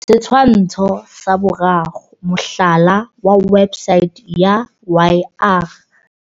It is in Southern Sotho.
Setshwantsho sa 3. Mohlala wa websaete ya YR.